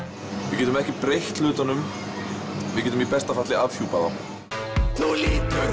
við getum ekki breytt hlutunum við getum í besta falli afhjúpað þá þú lítur